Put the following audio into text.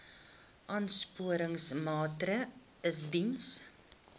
aansporingsmaatre ls diens